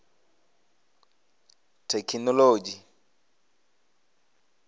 thekhinolodzhi